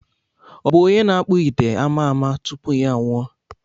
Ọ bụ onye na-akpụ ite ama ama tupu ya anwụọ?